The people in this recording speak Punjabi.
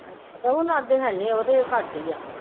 ਹੁਣ ਦੇ ਹੈਨੀ ਉਹਨਾਂ ਦੇ ਘਾਟ ਹੀ ਆ